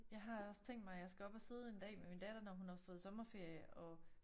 Jeg har også tænkt mig jeg skal op og sidde en dag med min datter når hun har sommeferie og